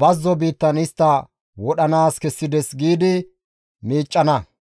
bazzo biittan istta wodhanaas kessides» giidi miiccana.